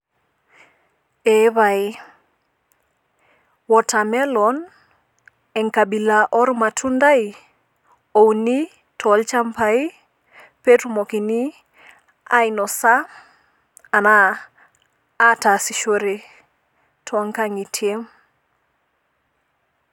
Eepae ,watermelon enkabila ormatundai ouni tolchambai petumokini ainosa anaa ataasishore toonkangitie.